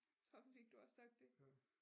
Så fik du også sagt det